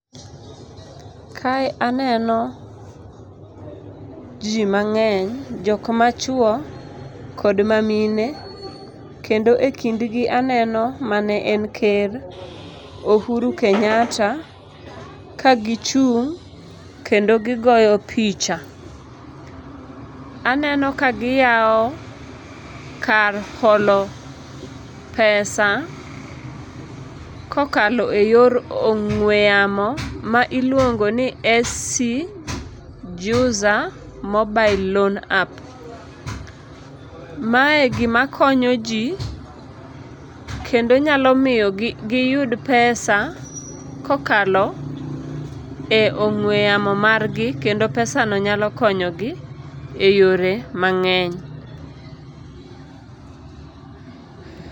Kae aneno ji mang'eny. Jok machuo kod ma mine, kendo e kindgi aneno ma ne en ker Ohuru Kenyatta kagichung' kendo gigoyo picha. Aneno kagiyawo kar holo pesa, kokalo e yor ong'we yamo ma iluongo ni SC Juza mobile loan app. Mae gima konyo ji, kendo nyalo miyo giyud pesa kokalo e ong'we yamo margi kendo pesano nyalo konyogi e yore mang'eny.